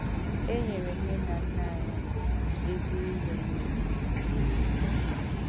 E nyere nne na nna anyị mbụ ezi ihe nile mgbe e kere ha.